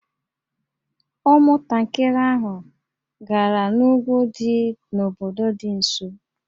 Ụmụntakịrị ahụ gara n'úgwú dị n'obodo dị nso